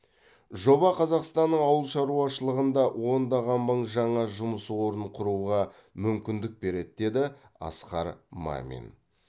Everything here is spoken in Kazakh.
жоба қазақстанның ауыл шаруашылығында ондаған мың жаңа жұмыс орнын құруға мүмкіндік береді деді асқар мамин